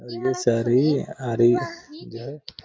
ये सारी आरी जो है --